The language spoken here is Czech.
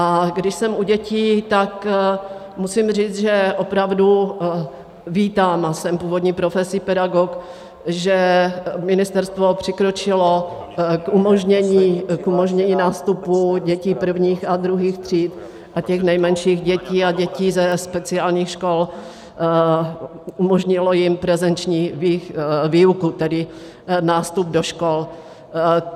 A když jsem u dětí, tak musím říct, že opravdu vítám, a jsem původní profesí pedagog, že ministerstvo přikročilo k umožnění nástupu dětí prvních a druhých tříd a těch nejmenších dětí a dětí ze speciálních škol, umožnilo jim prezenční výuku, tedy nástup do škol.